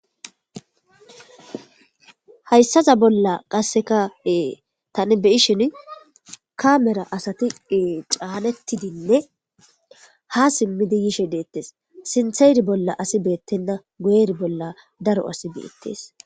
hayssaza bolla qasseka ee tani beyishin kamera asati caanettidinne ha simmidi yishe deettes sintheeri bolla asi beettenna gueri bolla daro asi beettes